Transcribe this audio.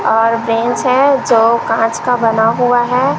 और बेंच है जो कांच का बना हुआ है।